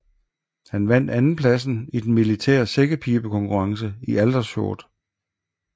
Han vandt andenpladsen i den militære sækkepibekonkurrence i Aldershot